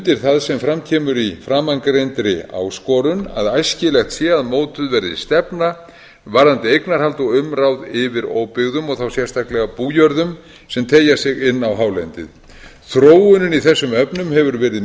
undir það sem fram kemur í framangreindri áskorun að æskilegt sé að mótuð verði stefna varðandi eignarhald og umráð yfir óbyggðum og þá sérstaklega bújörðum sem teygja sig inn á hálendið þróunin í þessum efnum hefur verið